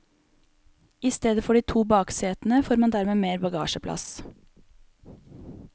I stedet for de to baksetene får man dermed mer bagasjeplass.